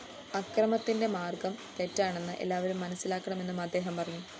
അക്രമത്തിന്റെ മാര്‍ഗം തെറ്റാണെന്ന് എല്ലാവരും മനസ്സിലാക്കണമെന്നും അദ്ദേഹം പറഞ്ഞു